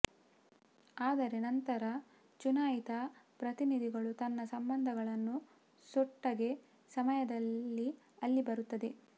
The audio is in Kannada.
ಆದರೆ ನಂತರ ಚುನಾಯಿತ ಪ್ರತಿನಿಧಿಗಳು ತನ್ನ ಸಂಬಂಧಗಳನ್ನು ಸೊಟ್ಟಗೆ ಸಮಯದಲ್ಲಿ ಅಲ್ಲಿ ಬರುತ್ತದೆ